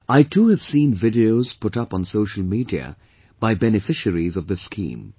I too have seen videos put up on social media by beneficiaries of this scheme